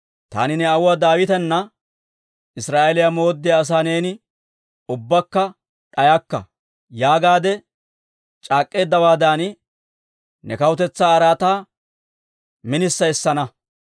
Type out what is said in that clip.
taani ne aawuwaa Daawitana, ‹Israa'eeliyaa mooddiyaa asaa neeni ubbakka d'ayakka› yaagaadde c'aak'eteeddawaadan, ne kawutetsaa araataa minissa essana.